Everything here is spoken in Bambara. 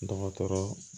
Dɔgɔtɔrɔ